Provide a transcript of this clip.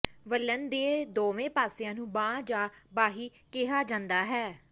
ਵਲਣ ਦੇ ਦੋਵੇਂ ਪਾਸਿਆਂ ਨੂੰ ਬਾਂਹ ਜਾਂ ਬਾਹੀ ਕਿਹਾ ਜਾਂਦਾ ਹੈ